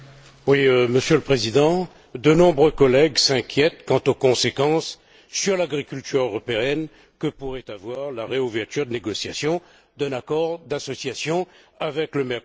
Monsieur le Président, de nombreux collègues s'inquiètent quant aux conséquences sur l'agriculture européenne que pourrait avoir la réouverture de négociations d'un accord d'association avec le Mercosur.